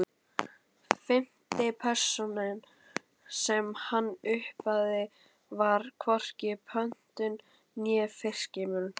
Fimmti pósturinn sem hann opnaði var hvorki pöntun né fyrirspurn.